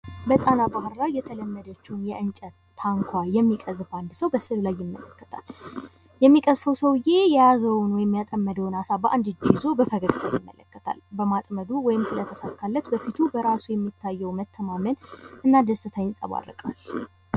በጣና ባህር ላይ የተለመደችው የእንጨት ታኳ የሚገቀዝፍ አንድ ሰው በምስሉ ላይ ይመለከታል። የሚቀዝፈው ሰውዬ የያዘውን ወይም ያጠመደውን አሳ በአንድ እጁ ይዞ በፈገግታ ይመለከታል። በማጥመዱ ወይም ስለተሳካለት በፊቱ በራሱ የሚታየው መተማመን እና ደስታ ይንፀባረቃል።